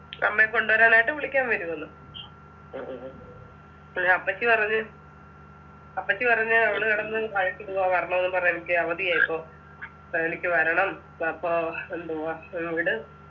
അമ്മയെ കൊണ്ടുവരാനായിട്ട് വിളിക്കാൻ വരുവെന്ന് അപ്പള് അപ്പച്ചി പറഞ്ഞ് അപ്പച്ചി പറഞ്ഞ് അവള് കിടന്ന് പറഞ്ഞുന്നു പറഞ്ഞ് എനിക്ക് അവധിയായിപ്പോ എനിക്ക് വരണം അപ്പൊ എന്തുവാ ഇങ്ട്